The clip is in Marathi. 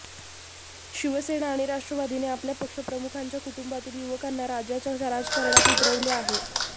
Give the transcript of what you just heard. शिवसेना आणि राष्ट्रवादीने आपल्या पक्षप्रमुखांच्या कुटुंबातील युवकांना राज्याच्या राजकारणात उतरवले आहे